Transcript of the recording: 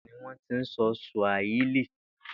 Ìlà oòrùn Áfíríkà ni wó̩n ti ń so̩ Sùàhílì